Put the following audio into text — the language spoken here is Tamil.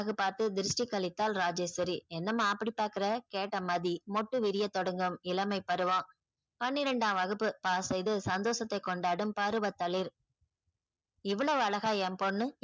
பாத்து திரிஸ்ட்டி கழித்தால் ராஜேஸ்வரி என்னம்மா அப்டி பாக்குற கேட்டா மாறி மொட்டு விரிய தொடங்கும் இளமை பருவோம் பன்னிரெண்டாம் வகுப்பு இது சந்தோஷத்தை கொண்டாடும் பருவ தளிர் இவ்ளோவு அழாக என் பொண்ணு